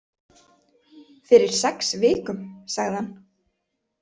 Fyrir sex vikum, sagði hann.